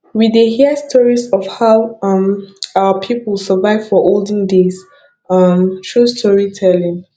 we dey hear stories of how um our people survive for olden days um through storytelling